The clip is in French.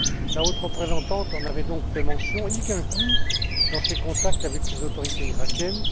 La haute représentante en avait donc fait mention, y compris dans ses contacts avec les autorités iraquiennes.